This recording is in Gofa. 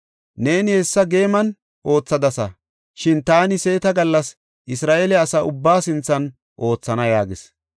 Neeni hessa geeman oothadasa; shin taani seeta gallas Isra7eele asa ubbaa sinthan oothana” yaagis.